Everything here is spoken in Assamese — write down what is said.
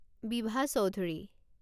বিভা চৌধুৰী